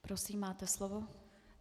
Prosím, máte slovo.